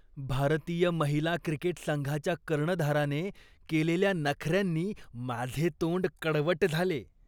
भारतीय महिला क्रिकेट संघाच्या कर्णधाराने केलेल्या नखऱ्यांनी माझे तोंड कडवट झाले.